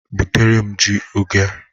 Butere m ji oge a!